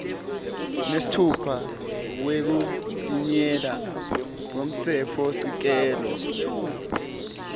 nesitfupha wekuchitjiyelwa kwemtsetfosisekelo